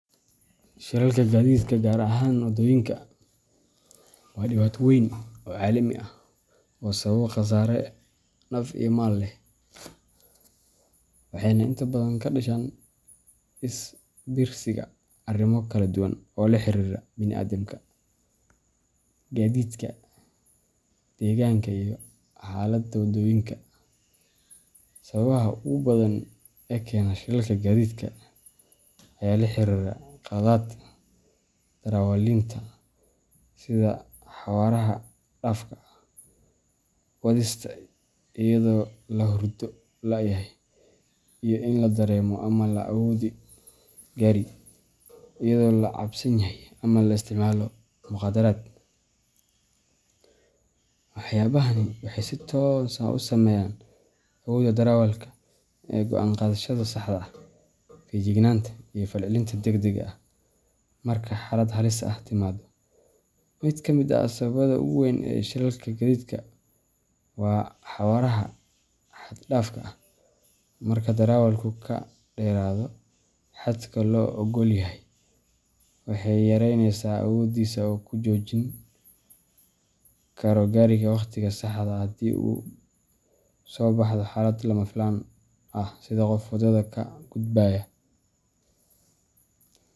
Shilalka gaadiidka, gaar ahaan waddooyinka, waa dhibaato weyn oo caalami ah oo sababa khasaare naf iyo maal leh, waxayna inta badan ka dhashaan is biirsiga arrimo kala duwan oo la xiriira bini’aadamka, gaadiidka, deegaanka, iyo xaaladda waddooyinka. Sababaha ugu badan ee keena shilalka gaadiidka ayaa la xiriira qaladaadka darawaliinta, sida xawaaraha xad dhaafka ah, wadista iyadoo la hurdo la’yahay, iyo in la dareemo ama la wado gaari iyadoo la cabsan yahay ama la isticmaalo mukhaadaraad. Waxyaabahani waxay si toos ah u saameeyaan awoodda darawalka ee go’aan qaadashada saxda ah, feejignaanta, iyo falcelinta degdegga ah marka xaalad halis ah timaado. Mid ka mid ah sababaha ugu weyn ee shilalka gaadiidka waa xawaaraha xad dhaafka ah. Marka darawalku ka dheeraado xadka loo oggol yahay, waxay yareyneysaa awooddiisa uu ku joojin karo gaariga waqtiga saxda ah haddii ay soo baxdo xaalad lama filaan ah sida qof waddada ka gudbaya.